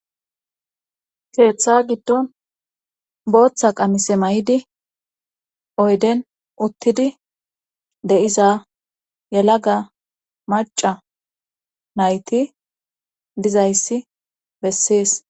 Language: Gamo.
keeththa giddon booththa qamise may7di oyden uttidi de7iza yalaga maca nayti dizayssi bessees